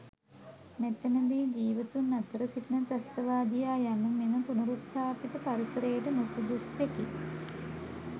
මෙතැනදී ජීවතුන් අතර සිටින ත්‍රස්තවාදියා යනු මෙම පුනරුත්ථාපිත පරිසරයට නුසුදුස්සෙකි.